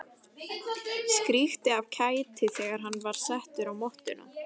Skríkti af kæti þegar hann var settur á mottuna.